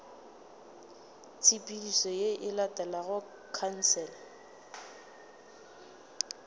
tshepedišo ye e latelago khansele